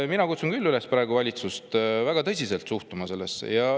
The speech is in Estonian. Mina kutsun küll praegu valitsust üles sellesse väga tõsiselt suhtuma.